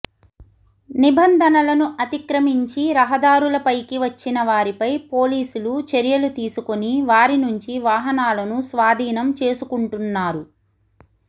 నిబంధనలను అతిక్రమించి రహదారులపైకి వచ్చిన వారిపై పోలీసులు చర్యలు తీసుకొని వారి నుంచి వాహనాలను స్వాధీనం చేసుంటున్నారు